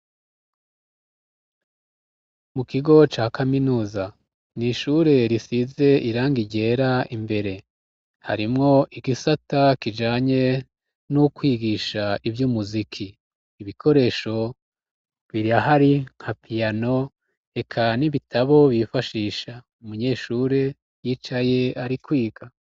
Mu kigo ca kaminuza ni ishure risize irangi ryera imbere. Harimwo igisata kijanye n'ukwigisha ivy'umuziki. Ibikoresho birahari nka piyano, eka n'ibitabo bifashisha umunyeshure yicaye ari kwiga.